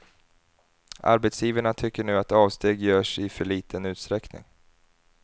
Arbetsgivarna tycker nu att avsteg görs i för liten utsträckning.